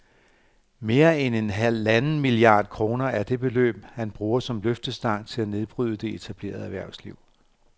Mere end halvanden milliard kroner er det beløb, han bruger som løftestang til at nedbryde det etablerede erhvervsliv